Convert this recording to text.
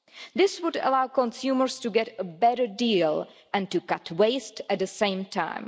This would allow consumers to get a better deal and to cut waste at the same time.